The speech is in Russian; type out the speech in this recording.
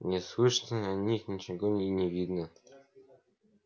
не слышно о них ничего и не видно